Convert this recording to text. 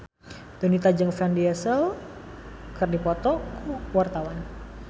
Donita jeung Vin Diesel keur dipoto ku wartawan